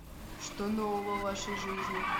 что нового в вашей жизни